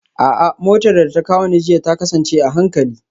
A'a, motar da ta kawo ni jiya ta kasance a hankali